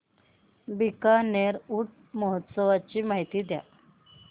बीकानेर ऊंट महोत्सवाची माहिती द्या